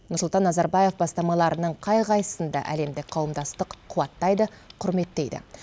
нұрсұлтан назарбаев бастамаларының қай қайсысын да әлемдік қауымдастық қуаттайды құрметтейді